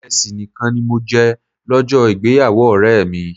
Ìrẹsì nìkan ni mo jẹ lọ́jọ́ ìgbéyàwó ọ̀rẹ́ mi.